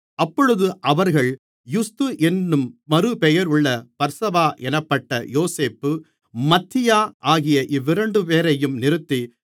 அப்பொழுது அவர்கள் யுஸ்து என்னும் மறுபெயருள்ள பர்சபா என்னப்பட்ட யோசேப்பு மத்தியா ஆகிய இவ்விரண்டுபேரையும் நிறுத்தி